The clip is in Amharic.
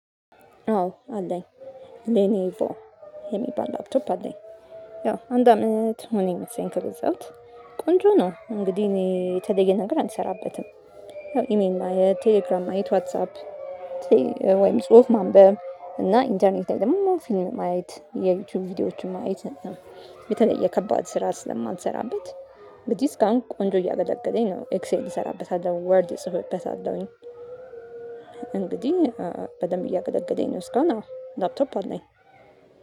አዎ አለኝ ሌኔቮ የሚባል ላፕቶፕ አለኝ። ያው አንድ አመት ሆነኝ ፓሲየን ከገዛሁት ቆንጆ ነው። እንግዲህ እኔ የተለየ ነገር አልሰራበትም። ይሄን የቴሌግራም አይት ዋትሳፕ። ወይም ጽሁፍ ማንበብ እና ኢንተርኔት ላይ ደግሞ ፊልም አይት የዩቲዩብ ቪዲዮዎችን ማየት። የተለየ ከባድ ስራ ስለማትሰራበት። በዚህ እስካሁን ቆንጆ እያገለገለኝ ነው ኤክስኤል እሰራበታል ወርድ እጽፍበታለሁኝ። እንግዲህ በደንብ እያገለገለኝ ነው። እስካሁን አው ላፕቶፕ አለኝ።